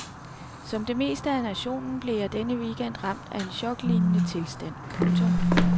Som det meste af nationen blev jeg denne weekend ramt af en choklignende tilstand. punktum